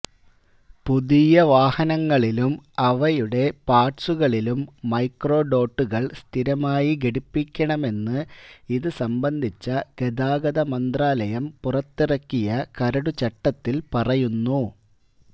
പുതിയ വാഹനങ്ങളിലും അവയുടെ പാര്ട്സുകളിലും മൈക്രോഡോട്ടുകള് സ്ഥിരമായി ഘടിപ്പിക്കണമെന്ന് ഇതുസംബന്ധിച്ച ഗതാഗതമന്ത്രാലയം പുറത്തിറക്കിയ കരടുചട്ടത്തില് പറയുന്നു